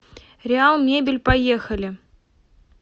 реалмебель поехали